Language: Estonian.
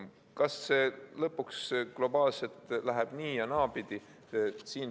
Kas see lõpuks globaalselt läheb nii- ja naapidi?